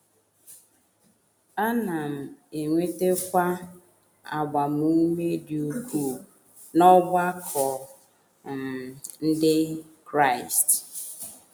Ana m enwetakwa agbamume dị ukwuu n’ọgbakọ um Ndị Kraịst. ”